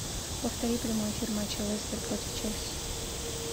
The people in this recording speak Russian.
повтори прямой эфир матча лестер против челси